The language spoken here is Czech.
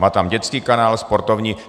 Má tam dětský kanál, sportovní.